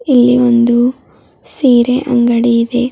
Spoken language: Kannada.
ಇಲ್ಲಿ ಒಂದು ಸೀರೆ ಅಂಗಡಿ ಇದೆ.